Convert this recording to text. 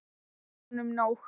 Það var honum nóg.